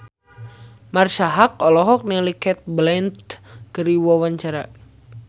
Marisa Haque olohok ningali Cate Blanchett keur diwawancara